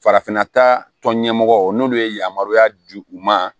Farafinna taa tɔn ɲɛmɔgɔ n'olu ye yamaruya di u ma